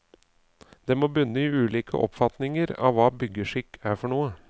Det må bunne i ulike oppfatninger av hva byggeskikk er for noe.